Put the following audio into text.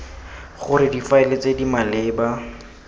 gore difaele tse di maleba